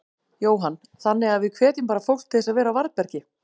Jóhann: Þannig að við hvetjum bara fólk til þess að vera á varðbergi?